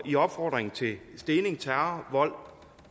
i opfordring til stening terror vold